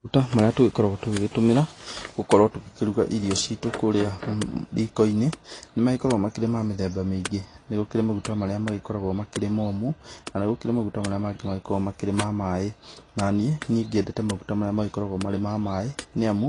Maguta marĩa tũkoragwo tũgĩgĩtũmĩra gũkorwe tũkĩruga irio citũ kũrĩa rikoinĩ nĩmagĩkoragwo makĩrĩ ma mĩthemba mĩĩngĩ, nĩgũkĩrĩ maguta marĩa ma magĩkoragwa makĩrĩ momũ, na nĩkũrĩ na maguta marĩa makoragwo ma maĩ, naniĩ, nĩnyendete maguta marĩa magĩkoragwa marĩ ma maĩ niamu